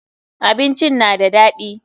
Abincin na da daɗi.